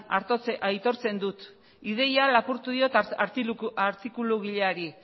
aitortzen dut ideia lapurtu diot artikulugileari